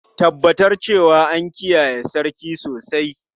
Tabbatar cewa an kiyaye sarki sosai!